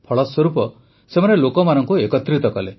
ଫଳସ୍ୱରୂପ ସେମାନେ ଲୋକମାନଙ୍କୁ ଏକତ୍ରିତ କଲେ